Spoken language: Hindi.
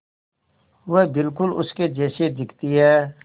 वह बिल्कुल उसके जैसी दिखती है